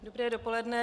Dobré dopoledne.